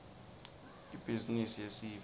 ibhizimisi yesive